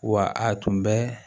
Wa a tun bɛ